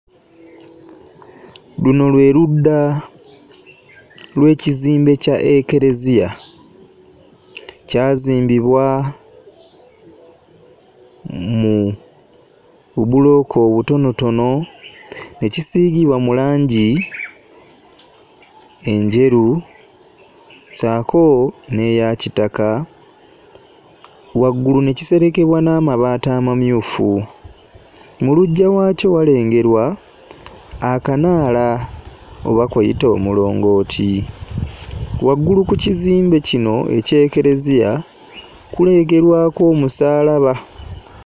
Luno lwe ludda lw'ekizimbe kya Ekkereeziya, kyazimbibwa mu bubulooka obutonotono ne kisiigiowa mu langi enjeru ssaako n'eyakitaka, waggulu ne kiserekebwa n'amabaati amamyufu, mu luggya waakyo walengerwa akanaala oba kuyite omulongooti. Waggulu ku kizmbe kino eky'Ekkereeziya kulengerwako omusaalaba.